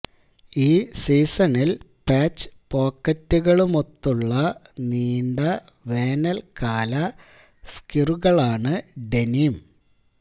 ഈ സീസണിൽ പാച്ച് പോക്കറ്റുകളുമൊത്തുള്ള നീണ്ട വേനൽക്കാല സ്കിറുകളാണ് ഡെനിം